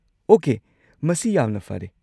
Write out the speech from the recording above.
Okay, ꯃꯁꯤ ꯌꯥꯝꯅ ꯐꯔꯦ꯫